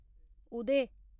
उदय